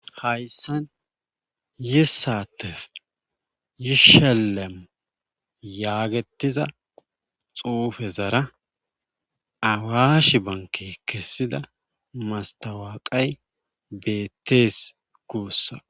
Hayssan yissattef yishellemi yaagettiza xuufezara awaash benkkey kessida masttawaaqay beettees guussa.